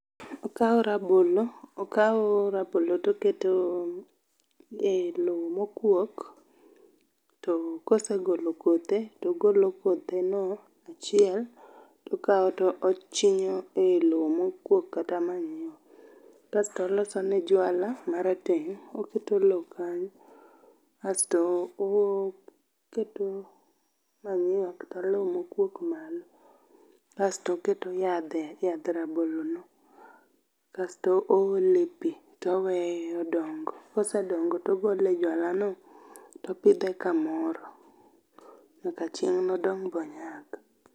Okao rabolo, okao rabolo toketo e loo mokuok to kosegolo kothe togolo kotheno achiel tokaw tochinyo e loo mokuok kata manyiwa ,kasto olosone jwala marateng, oketo looo kanyo asto oketo manyuwa kata loo mokuok malo asto oketo yadhe, yadh rabolo no asto oole pii toweye odongo. Kosedongo togole e jwala no toopidhe kamoro nyaka chieng nodong monyak